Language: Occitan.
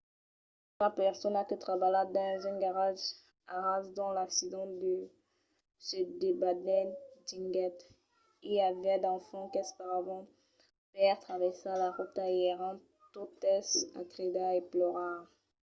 una persona que trabalha dins un garatge a ras d'ont l’accident se debanèt diguèt: i aviá d’enfants qu’esperavan per traversar la rota e èran totes a cridar e plorar.